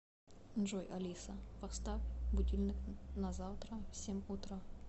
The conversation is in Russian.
джой алиса поставь будильник на завтра в семь утра